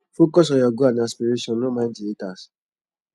focus on your goal and aspiration no mind di haters